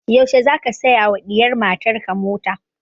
Yaushe za ka saya wa diyar matan ka mota?